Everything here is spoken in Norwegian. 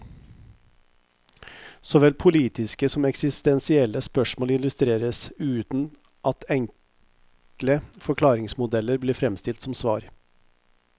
Såvel politiske som eksistensielle spørsmål illustreres, uten at enkle forklaringsmodeller blir fremstilt som svar.